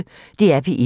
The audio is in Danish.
DR P1